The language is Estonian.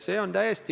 See on realiteet.